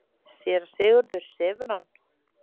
SÉRA SIGURÐUR: Sefur hann?